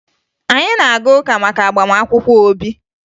Anyị na-aga ụka maka agbamakwụkwọ Obi